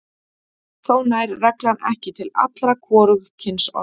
Þó nær reglan ekki til allra hvorugkynsorða.